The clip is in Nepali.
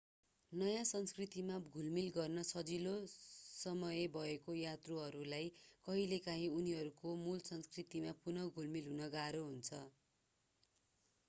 नयाँ संस्कृतिमा घुलमिल गर्न सजिलो समय भएको यात्रुहरूलाई कहिलेकाहीँ उनीहरूको मूल संस्कृतिमा पुनः घुलमिल गर्न गाह्रो हुन्छ